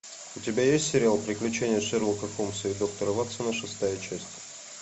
у тебя есть сериал приключения шерлока холмса и доктора ватсона шестая часть